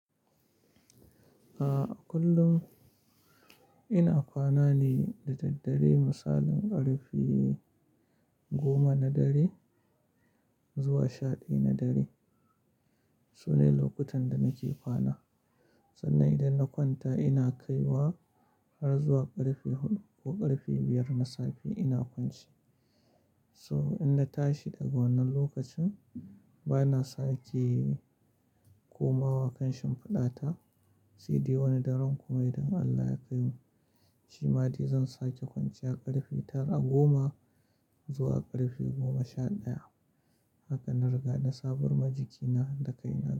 A'a kullum ina kwana ne da daddare, misalin ƙarfe goma na dare zuwa sha ɗaya na dare, sune lokutan da nake kwana, sannan idan na kwanta ina kaiwa har zuwa ƙarfe huɗu ko ƙarfe biyar na safe ina kwance. So in na tashi daga wannan lokacin bana sake komawa kan shimfiɗa ta. Saidai wani daren kuma idan Allah ya kaimu, shi ma dai zan sake kwanciya ƙarfe ta-- goma zuwa ƙarfe goma sha ɗaya. Haka na riga na sabarwa jikina da kaina.